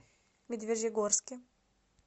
медвежьегорске